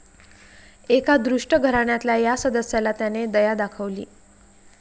एका दुष्ट घराण्यातल्या या सदस्याला त्याने दया दाखवली.